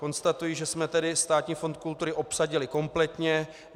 Konstatuji tedy, že jsme Státní fond kultury obsadili kompletně.